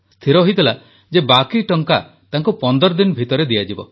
ସ୍ଥିର ହୋଇଥିଲା ଯେ ବାକି ଟଙ୍କା ତାଙ୍କୁ ପନ୍ଦର ଦିନ ଭିତରେ ଦିଆଯିବ